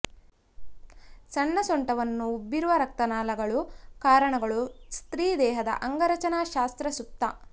ಸಣ್ಣ ಸೊಂಟವನ್ನು ಉಬ್ಬಿರುವ ರಕ್ತನಾಳಗಳು ಕಾರಣಗಳು ಸ್ತ್ರೀ ದೇಹದ ಅಂಗರಚನಾಶಾಸ್ತ್ರ ಸುಪ್ತ